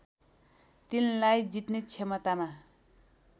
तिनलाई जित्ने क्षमतामा